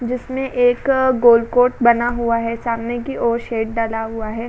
जिसमे की एक गोल बना हुआ है सामने की ओर डला हुआ है।